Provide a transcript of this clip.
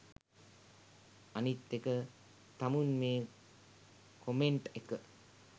අනිත් එක තමුන් මේ කොමෙන්ට් එක